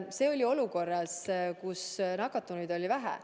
See oli olukorras, kus nakatunuid oli vähe.